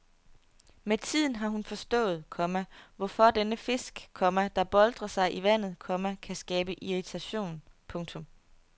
Med tiden har hun forstået, komma hvorfor denne fisk, komma der boltrer sig i vandet, komma kan skabe irritation. punktum